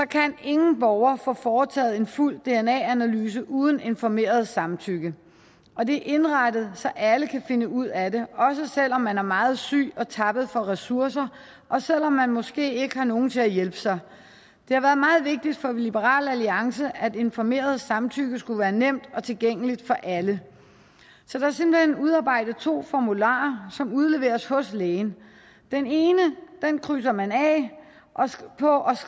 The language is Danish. kan ingen borger få foretaget en fuld dna analyse uden informeret samtykke og det er indrettet så alle kan finde ud af det også selv om man er meget syg og tappet for ressourcer og selv om man måske ikke har nogen til at hjælpe sig det har været meget vigtigt for liberal alliance at informeret samtykke skulle være nemt og tilgængeligt for alle så der er simpelt hen udarbejdet to formularer som udleveres hos lægen den ene krydser man af på og